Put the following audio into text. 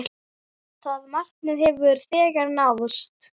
Það markmið hefur þegar náðst.